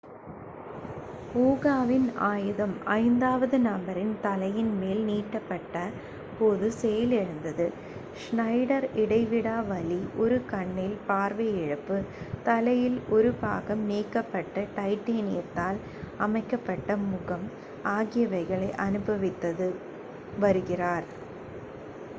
ஊகாவின் ஆயுதம் ஐந்தாவது நபரின் தலையின் மேல் நீட்டப்பட்ட போது செயலிழந்தது ஷ்னைடர் இடைவிடாத வலி ஒரு கண்ணில் பார்வை இழப்பு தலையில் ஒரு பாகம் நீக்கப்பட்டு டைட்டேனியத்தால் அமைக்கப்பட்ட முகம் ஆகியவைகளை அனுபவித்து வருகிறார்